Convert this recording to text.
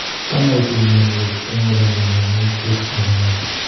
Changaitu mionwek eng ole mi kanyaiset nebo ngony